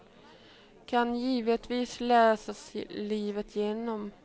Den kan givetvis läsas livet igenom.